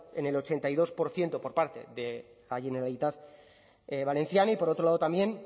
en el ochenta y dos por ciento por parte de la generalitat valenciana y por otro lado también